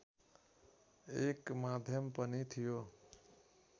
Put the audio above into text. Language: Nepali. एक माध्यम पनि थियो